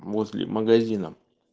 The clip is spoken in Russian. возле магазина